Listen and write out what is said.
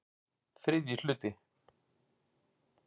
III hluti